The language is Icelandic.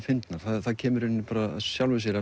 fyndnar það kemur í rauninni bara af sjálfu sér